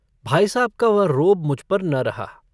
भाई साहब का वह रोब मुझ पर न रहा।